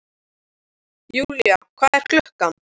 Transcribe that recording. Julia, hvað er klukkan?